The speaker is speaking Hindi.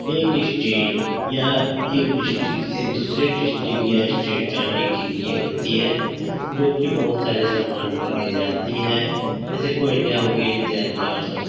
एक स्टेट या एक ड्रिस्टीक दूसरे ड्रिस्टीक या स्टेट जाने के लिए होती है जो कि बोहोत सारे सामान को ले जाती है। ऐसी कोई --